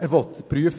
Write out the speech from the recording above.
«Er will es prüfen